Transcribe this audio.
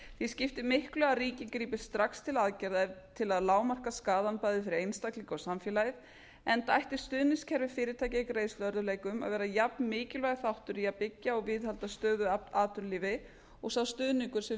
því skiptir miklu að ríkið grípi strax til aðgerða til að lágmarka skaðann bæði fyrir einstaklinga og samfélagið enda ætti stuðningskerfi fyrirtækja í greiðsluörðugleikum að vera jafn mikilvægur þáttur í að byggja og viðhalda stöðugu atvinnulífi og sá stuðningur sem